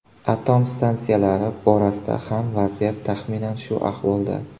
Atom stansiyalari borasida ham vaziyat taxminan shu ahvolda.